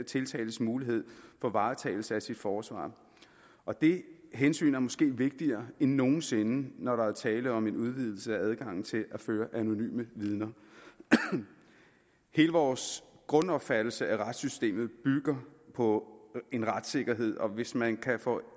tiltaltes mulighed for varetagelse af sit forsvar og dette hensyn er måske vigtigere end nogen sinde når der er tale om en udvidelse af adgangen til at føre anonyme vidner hele vores grundopfattelse af retssystemet bygger på en retssikkerhed og hvis man kan få